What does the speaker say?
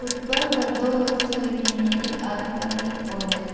Footpath पर दो लोग चल रहे हैं एक आदमी और एक औरत।